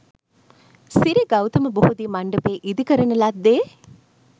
සිරි ගෞතම බෝධි මණ්ඩපය ඉදිකරන ලද්දේ